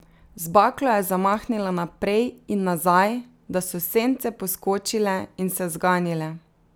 Z baklo je zamahnila naprej in nazaj, da so sence poskočile in se zganile.